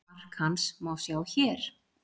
Mark hans má sjá hér.